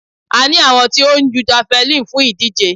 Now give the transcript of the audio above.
A ní àwọn tí ó ń jú javeline fún ìdíje.